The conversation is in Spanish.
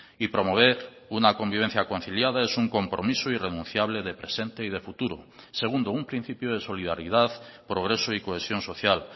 y promover una convivencia conciliada es un compromiso irrenunciable de presente y de futuro segundo un principio de solidaridad progreso y cohesión social